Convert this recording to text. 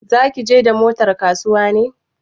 Za ki je da motar kasuwa ne?